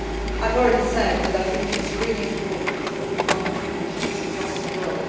I have already said that I think it is really important that we monitor the issues across the world.